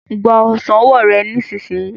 Gba ọsán ọwọ rẹ nísìsiyìí.